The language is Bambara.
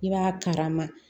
I b'a kalama